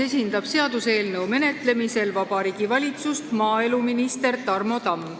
Seaduseelnõu menetlemisel Riigikogus esindab Vabariigi Valitsust maaeluminister Tarmo Tamm.